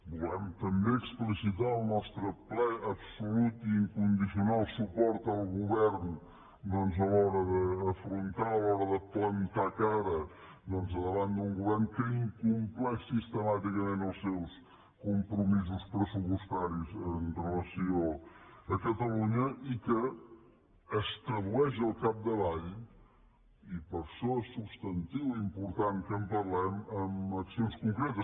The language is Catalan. volem també explicitar el nostre ple absolut i incondicional suport al govern a l’hora d’afrontar a l’ hora de plantar cara davant d’un govern que incompleix sistemàticament els seus compromisos pressupostaris amb relació a catalunya i que es tradueix al capdavall i per això és substantiu i important que en parlem en accions concretes